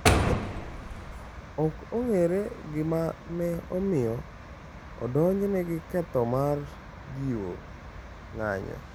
Ok ong’ere gima ne omiyo odonjne gi ketho mar jiwo ng’anjo.